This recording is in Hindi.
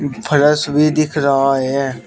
फर्स भी दिख रहा है।